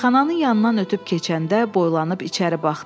Meyxananın yanından ötüb keçəndə boylanıb içəri baxdı.